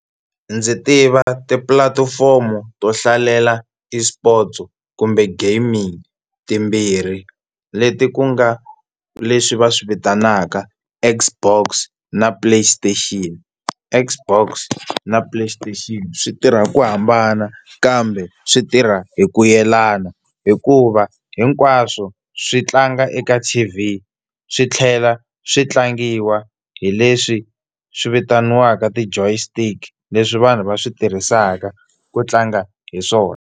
Ndzi tiva tipulatifomo to hlalela eSports kumbe gaming timbirhi leti ku nga leswi va swi vitanaka Xbox na Play Station. Xbox na Play Station swi tirha ku hambana kambe swi tirha hi ku yelana, hikuva hinkwaswo swi tlanga eka T_V swi tlhela swi tlangiwa hi leswi swi vitaniwaka ti joystick leswi vanhu va swi tirhisaka ku tlanga hi swona.